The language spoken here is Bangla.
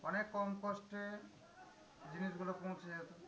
অনেক কম cost এ জিনিসগুলো পৌঁছে যেত।